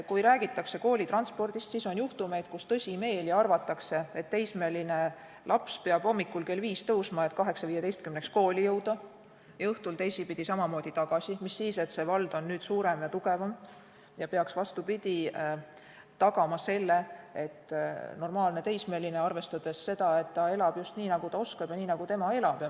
Kui rääkida koolitranspordist, siis on juhtumeid, kus tõsimeeli arvatakse, et teismeline laps peab hommikul kell 5 tõusma, et 8.15-ks kooli jõuda, ja õhtul teisipidi samamoodi tagasi minema, mis siis, et vald on nüüd suurem ja tugevam ja peaks, vastupidi, arvestama, et normaalne teismeline elab just nii, nagu ta oskab ja nii nagu ta elab.